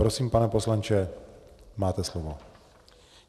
Prosím, pane poslanče, máte slovo.